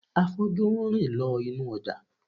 Afọ́jú ń rìn lọ inú ọjà